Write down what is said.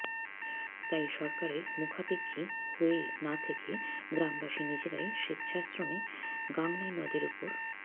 তাই সরকারের মুখাপেক্ষী হয়ে না থেকে গ্রামবাসী নিজেরাই স্বেচ্ছাশ্রমে গাংনাই নদের ওপর